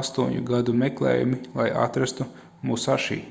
astoņu gadu meklējumi lai atrastu musaši